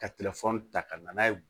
Ka ta ka na n'a ye